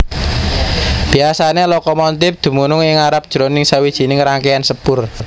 Biasané lokomontip dumunung ing ngarep jroning sawijining rangkéan sepur